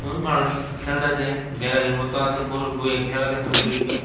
মানুষ খেলত্যাসে গ্যালারি মত আছে বই বইয়া খেলা দেখনের লাইগ্যা ।